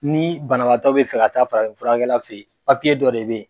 Ni banabaatɔ be fɛ ka taa farafin furakɛla fe ye dɔ de be ye